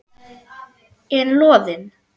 En Loðinn?